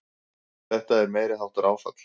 Þetta er meiriháttar áfall!